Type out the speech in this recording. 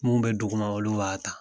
Mun bɛ duguma olu b'a ta.